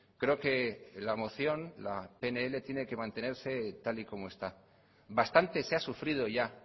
creo que la moción la pnl tiene que mantenerse tal y como está bastante se ha sufrido ya